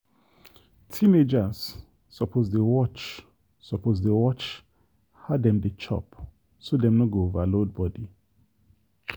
teenagers suppose dey watch suppose dey watch how dem dey chop so dem no go overload body.